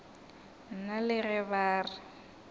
nna le ge ba re